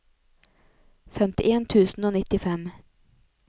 femtien tusen og nittifem